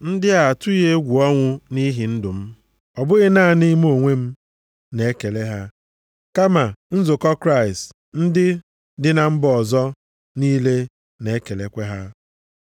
Ndị a atụghị egwu ọnwụ nʼihi ndụ m. Ọ bụghị naanị mụ onwe m na ekele ha, kama nzukọ Kraịst ndị dị na mba ọzọ niile na-ekelekwa ha.